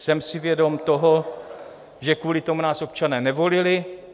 Jsem si vědom toho, že kvůli tomu nás občané nevolili.